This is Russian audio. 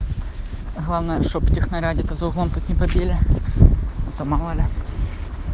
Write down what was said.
главное чтоб техноря где то за углом тут не побили а то мало ли